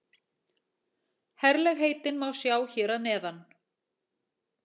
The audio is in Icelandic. Herlegheitin má sjá hér að neðan